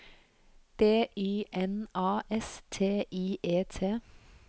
D Y N A S T I E T